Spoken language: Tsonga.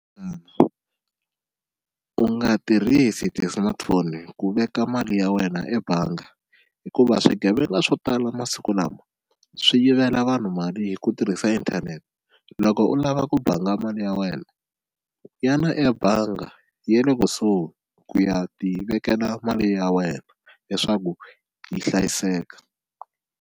u nga tirhisi ti-smartphone ku veka mali ya wena ebanga hikuva swigevenga swo tala masiku lama swi yivela vanhu mali hi ku tirhisa inthanete, loko u lava ku banga mali ya wena ya na ebanga ya le kusuhi ku ya ti vekela mali ya wena leswaku yi hlayiseka.